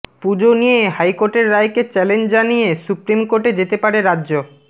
পুজো নিয়ে হাইকোর্টের রায়কে চ্যালেঞ্জ জানিয়ে সুপ্রিম কোর্টে যেতে পারে রাজ্য